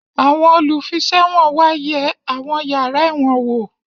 Àwọn olùfiṣẹ̀wọ̀n wá yẹ àwọn yàrá ẹ̀wọ̀n wò